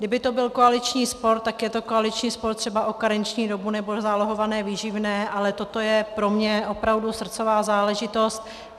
Kdyby to byl koaliční spor, tak je to koaliční spor třeba o karenční dobu nebo zálohované výživné, ale toto je pro mě opravdu srdcová záležitost.